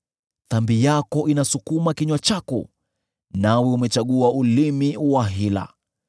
Dhambi yako inasukuma kinywa chako, nawe umechagua ulimi wa hila.